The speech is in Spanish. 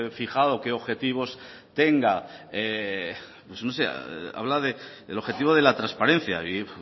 fijado qué objetivos tenga habla del objetivo de la transparencia y